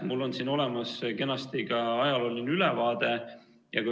Mul on siin kenasti olemas ka ajalooline ülevaade.